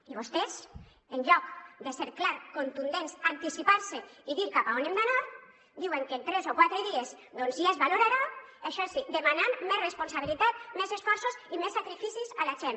i vostès en lloc de ser clars contundents anticipar se i dir cap a on hem d’anar diuen que en tres o quatre dies doncs ja es valorarà això sí demanant més responsabilitat més esforços i més sacrificis a la gent